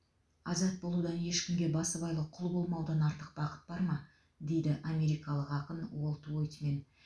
азат болудан ешкімге басыбайлы құл болмаудан артық бақыт бар ма дейді америкалық ақын уолт уитмен